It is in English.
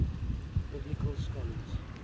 biblical scholars